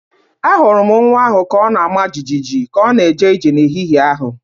Ahụrụ m nwa ahụ ka ọ na-ama jijiji ka ọ na-eje ije n’ehihie a.